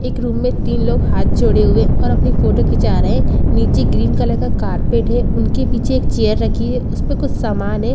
एक रूम में तीन लोग हाथ जोड़े हुए और अपनी फोटो खिंचा रहे हैं नीचे ग्रीन कलर का कारपेट है उनके पीछे एक चेयर रखी है उस पर कुछ सामान है।